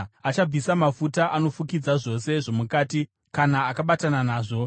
Achabvisa mafuta anofukidza zvose zvomukati kana akabatana nazvo,